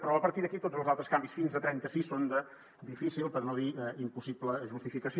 però a partir d’aquí tots els altres canvis fins a trenta sis són de difícil per no dir impossible justificació